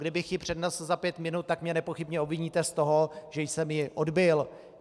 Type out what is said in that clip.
Kdybych ji přednesl za pět minut, tak mě nepochybně obviníte z toho, že jsem ji odbyl.